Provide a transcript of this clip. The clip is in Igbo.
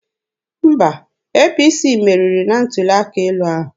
Mba, APC meriri na ntuli aka elu ahụ.